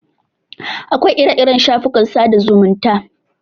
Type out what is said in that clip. Akwai ire-iren shafukan sada zumunta.